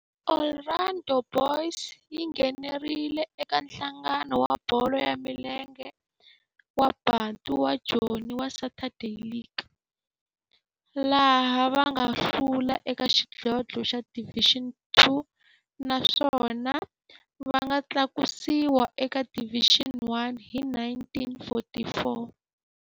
Orlando Boys yi nghenelerile eka Nhlangano wa Bolo ya Milenge wa Bantu wa Joni wa Saturday League, laha va nga hlula eka xidlodlo xa Division Two naswona va nga tlakusiwa eka Division One hi 1944.